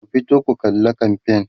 ku fito ku kalla kamfain!